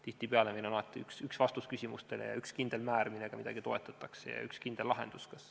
Tihtipeale on meil üks vastus küsimustele, üks kindel määr, millega midagi toetatakse, ja üks kindel lahendus.